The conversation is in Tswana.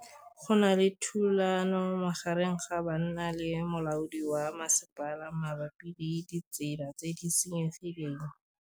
Go na le thulanô magareng ga banna le molaodi wa masepala mabapi le ditsela tse di senyegileng.